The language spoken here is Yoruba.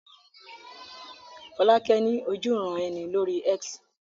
Fọ́lákẹ́ ní ojúuran-ẹni lórí X